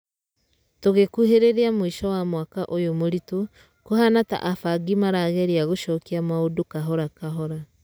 Tũgĩkuhĩrĩria mwĩsho wa mwaka ũyũ mũritũ, kũhana ta abangi nĩmarageria gũcokia maũndũ kahora kahora.